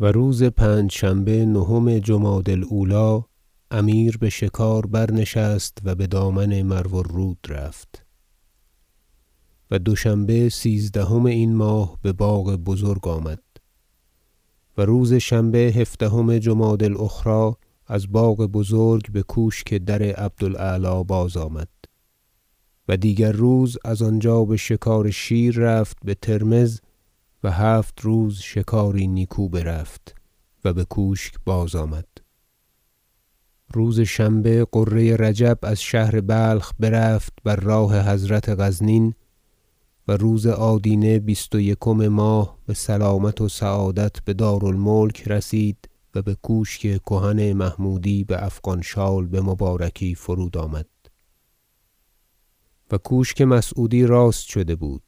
و روز پنجشنبه نهم جمادی الاولی امیر بشکار برنشست و بدامن مرو الرود رفت و دوشنبه سیزدهم این ماه بباغ بزرگ آمد و روز شنبه هفدهم جمادی الاخری از باغ بزرگ بکوشک در عبد الاعلی بازآمد و دیگر روز از آنجا بشکار شیر رفت بترمذ و هفت روز شکاری نیکو برفت و بکوشک بازآمد روز شنبه غره رجب از شهر بلخ برفت بر راه حضرت غزنین و روز آدینه بیست و یکم ماه بسلامت و سعادت بدار الملک رسید و بکوشک کهن محمودی بافغان شال بمبارکی فرود آمد و کوشک مسعودی راست شده بود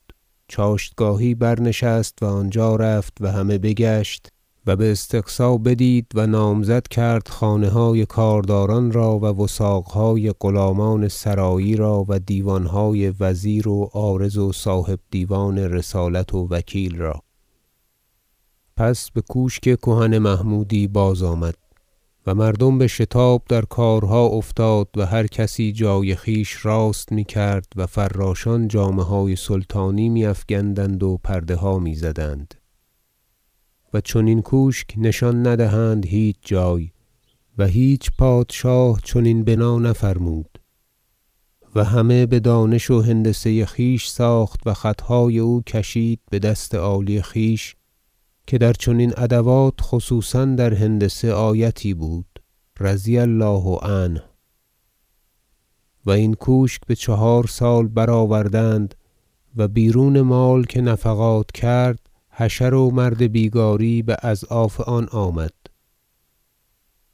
چاشتگاهی برنشست و آنجا رفت و همه بگشت و باستقصا بدید و نامزد کرد خانه های کارداران را و وثاقهای غلامان سرایی را و دیوانهای وزیر و عارض و صاحب دیوان رسالت و وکیل را پس بکوشک کهن محمودی بازآمد و مردم بشتاب در کارها افتاد و هر کسی جای خویش راست میکرد و فراشان جامه های سلطانی میافگندند و پرده ها میزدند و چنین کوشک نشان ندهند هیچ جای و هیچ پادشاه چنین بنا نفرمود و همه بدانش و هندسه خویش ساخت و خطهای او کشید بدست عالی خویش که در چنین ادوات خصوصا در هندسه آیتی بود رضی الله عنه و این کوشک بچهار سال برآوردند و بیرون مال که نفقات کرد حشر و مرد بیگاری باضعاف آن آمد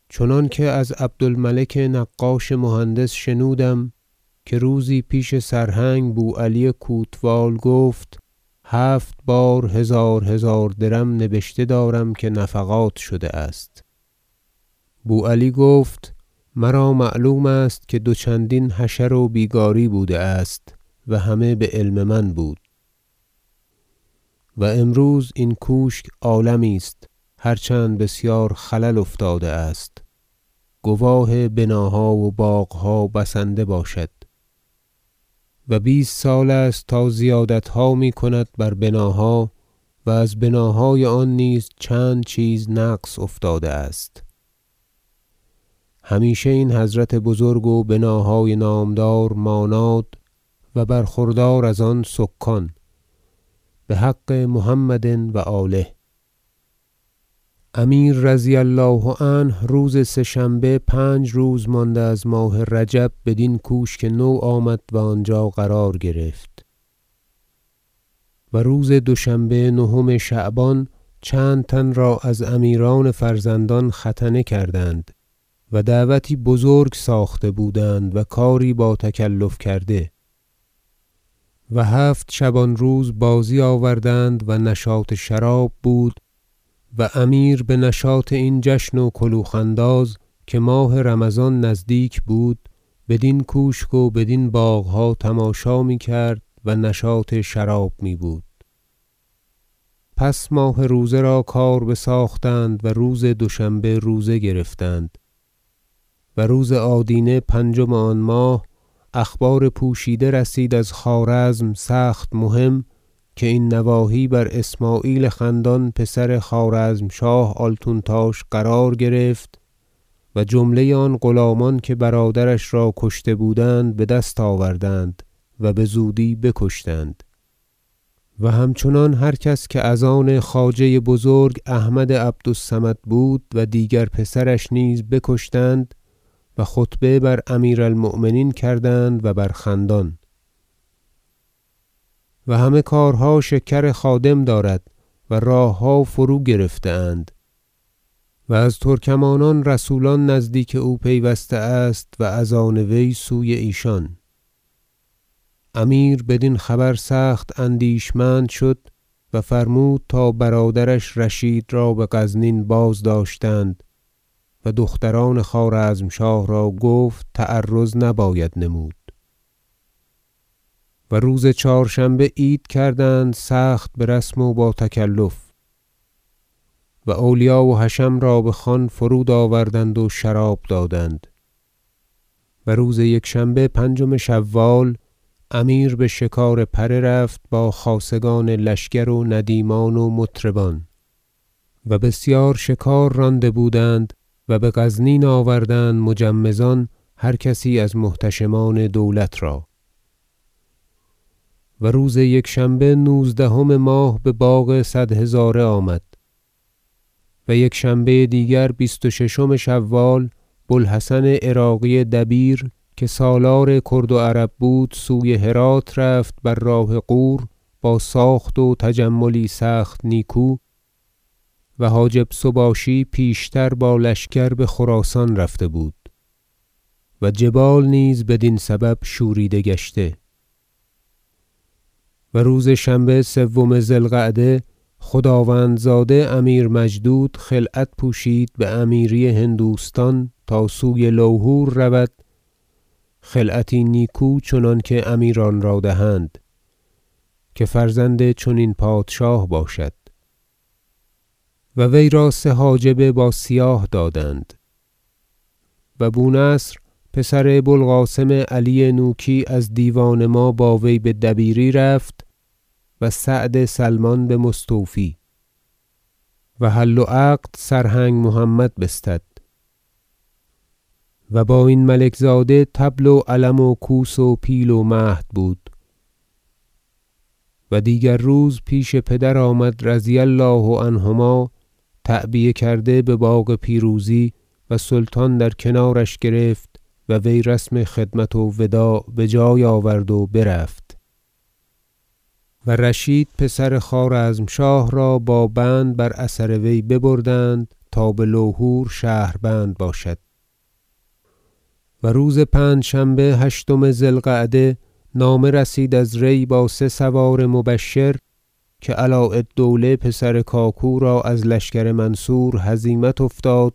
چنانکه از عبد الملک نقاش مهندس شنودم که روزی پیش سرهنگ بوعلی کوتوال گفت هفت بار هزار هزار درم نبشته دارم که نفقات شده است بوعلی گفت مرا معلوم است که دو چندین حشر و بیگاری بوده است و همه بعلم من بود و امروز این کوشک عالمی است هر چند بسیار خلل افتاده است گواه بناها و باغها بسنده باشد و بیست سال است تا زیادتها میکنند بر بناها و از بناهای آن نیز چند چیز نقص افتاده است همیشه این حضرت بزرگ و بناهای نامدار ماناد و برخوردار از آن سکان بحق محمد و آله امیر رضی الله عنه روز سه شنبه پنج روز مانده از ماه رجب بدین کوشک نو آمد و آنجا قرار گرفت و روز دوشنبه نهم شعبان چند تن را از امیران فرزندان ختنه کردند و دعوتی بزرگ ساخته بودند و کاری با تکلف کرده و هفت شبان روز بازی آوردند و نشاط شراب بود و امیر بنشاط این جشن و کلوخ انداز که ماه رمضان نزدیک بود بدین کوشک و بدین باغها تماشا میکرد و نشاط شراب میبود پس ماه روزه را کار بساختند و روز دوشنبه روزه گرفتند و روز آدینه پنجم آن ماه اخبار پوشیده رسید از خوارزم سخت مهم که این نواحی بر اسمعیل خندان پسر خوارزمشاه آلتونتاش قرار گرفت و جمله آن غلامان که برادرش را کشته بودند بدست آوردند و بزودی بکشتند و همچنان هر کس که از آن خواجه بزرگ احمد عبد الصمد بود و دیگر پسرش نیز بکشتند و خطبه بر امیر المؤمنین کردند و بر خندان و همه کارها شکر خادم دارد و راهها فروگرفته اند و از ترکمانان رسولان نزدیک او پیوسته است و از آن وی سوی ایشان امیر بدین خبر سخت اندیشمند شد و فرمود تا برادرش رشید را بغزنین بازداشتند و دختران خوارزمشاه را گفت تعرض نباید نمود مراسم عید فطر و خلعت پوشی امیر مجدود و روز چهارشنبه عید کردند سخت برسم و با تکلف و اولیا و حشم را بخوان فرود آوردند و شراب دادند و روز یکشنبه پنجم شوال امیر بشکار پره رفت با خاصگان لشکر و ندیمان و مطربان و بسیار شکار رانده بودند و بغزنین آوردند مجمزان هر کسی از محتشمان دولت را و روز یکشنبه نوزدهم ماه بباغ صد هزاره آمد و یکشنبه دیگر بیست و ششم شوال بوالحسن عراقی دبیر که سالار کرد و عرب بود سوی هرات رفت بر راه غور با ساخت و تجملی سخت نیکو و حاجب سباشی پیشتر با لشکر بخراسان رفته بود و جبال نیز بدین سبب شوریده گشته و روز شنبه سوم ذی القعده خداوندزاده امیر مجدود خلعت پوشید بامیری هندوستان تا سوی لوهور رود خلعتی نیکو چنانکه امیران را دهند خاصه که فرزند چنین پادشاه باشد و وی را سه حاجب با سیاه دادند و بونصر پسر بوالقاسم علی نوکی از دیوان ما با وی بدبیری رفت و سعد سلمان بمستوفی و حل و عقد سرهنگ محمد بستد و با این ملک زاده طبل و علم و کوس و پیل و مهد بود و دیگر روز پیش پدر آمد رضی الله عنهما تعبیه کرده بباغ پیروزی و سلطان در کنارش گرفت و وی رسم خدمت و وداع بجای آورد و برفت و رشید پسر خوارزمشاه را با بند بر اثر وی ببردند تا بلهور شهربند باشد و روز پنجشنبه هشتم ذی القعده نامه رسید از ری با سه سوار مبشر که علاء- الدوله پسر کاکو را از لشکر منصور هزیمت افتاد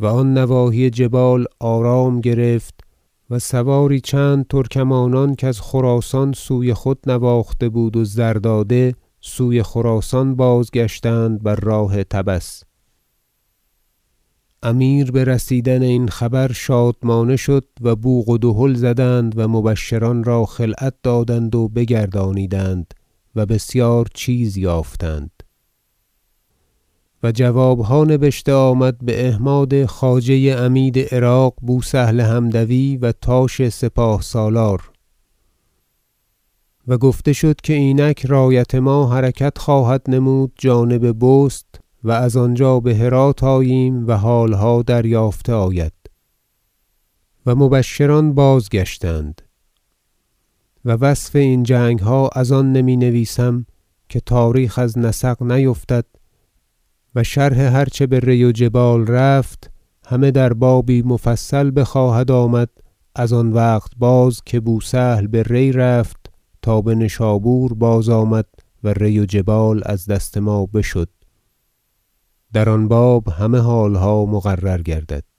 و آن نواحی جبال آرام گرفت و سواری چند ترکمانان کز خراسان سوی خود نواخته بود و زر داده سوی خراسان بازگشتند بر راه طبس امیر برسیدن این خبر شادمانه شد و بوق و دهل زدند و مبشران را خلعت دادند و بگردانیدند و بسیار چیز یافتند و جوابها نبشته آمد به احماد خواجه عمید عراق بوسهل حمدوی و تاش سپاه سالار و گفته شد که اینک رایت ما حرکت خواهد نمود جانب بست و از آنجا بهرات آییم و حالها دریافته آید و مبشران بازگشتند و وصف این جنگها از آن نمی نویسم که تاریخ از نسق نیفتد و شرح هر چه به ری و جبال رفت همه در بابی مفصل بخواهد آمد از آن وقت باز که بوسهل به ری رفت تا بنشابور بازآمد و ری و جبال از دست ما بشد و در آن باب همه حالها مقرر گردد